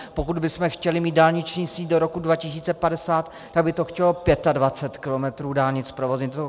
Pokud bychom chtěli mít dálniční síť do roku 2050, tak by to chtělo 25 kilometrů dálnic zprovoznit.